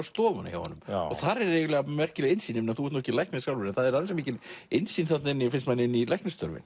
stofuna hjá honum og þar er eiginlega merkileg innsýn þú ert nú ekki læknir sjálfur en ansi mikil innsýn finnst manni inn í